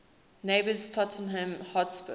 neighbours tottenham hotspur